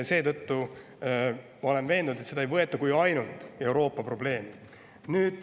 Seetõttu ma olen veendunud, et seda ei võeta kui ainult Euroopa probleemi.